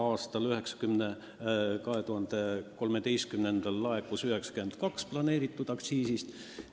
Aastal 2013 laekus 92% plaanitud aktsiisist.